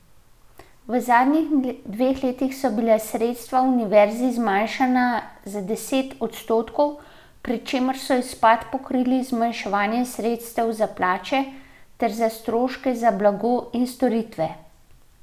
V zadnjih dveh letih so bila sredstva univerzi zmanjšana za deset odstotkov, pri čemer so izpad pokrivali z zmanjševanjem sredstev za plače ter za stroške za blago in storitve.